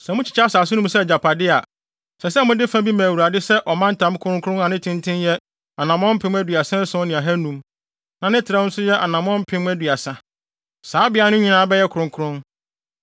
“ ‘Sɛ mokyekyɛ asase no mu sɛ agyapade a, ɛsɛ sɛ mode fa bi ma Awurade sɛ ɔmantam kronkron a ne tenten yɛ anammɔn mpem aduasa ason ne ahanum (37,500), na ne trɛw nso yɛ anammɔn mpem aduasa (30,000); saa beae no nyinaa bɛyɛ kronkron.